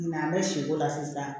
Ɲinan an bɛ si k'o la sisan